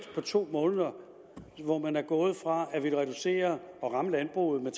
på to måneder hvor man er gået fra at ville reducere og ramme landbruget med